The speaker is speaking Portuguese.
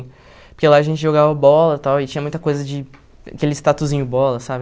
Porque lá a gente jogava bola e tal, e tinha muita coisa de... Aqueles tatuzinho bola, sabe?